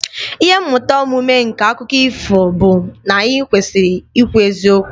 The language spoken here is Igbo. Ihe mmụta omume nke akụkọ ifo bụ na anyị kwesịrị ikwu eziokwu